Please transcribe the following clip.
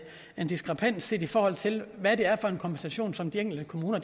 en diskrepans set i forhold til hvad det er for en kompensation som de enkelte kommuner